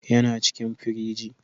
yana cikin firiji